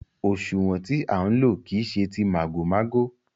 Òṣúwọ̀n tí à ń lò kìí ṣe tí màgòmágó.